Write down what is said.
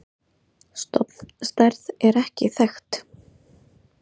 Stofnstærð er ekki þekkt.